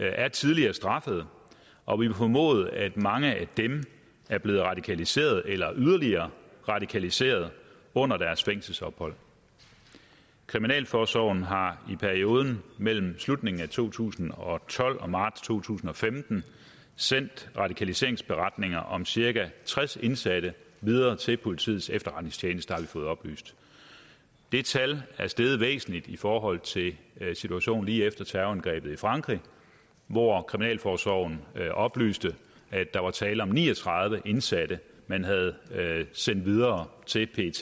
er tidligere straffet og vi må formode at mange af dem er blevet radikaliseret eller yderligere radikaliseret under deres fængselsophold kriminalforsorgen har i perioden mellem slutningen af to tusind og tolv og marts to tusind og femten sendt radikaliseringsberetninger om cirka tres indsatte videre til politiets efterretningstjeneste har vi fået oplyst det tal er steget væsentligt i forhold til situationen lige efter terrorangrebet i frankrig hvor kriminalforsorgen oplyste at der var tale om ni og tredive indsatte man havde sendt videre til pet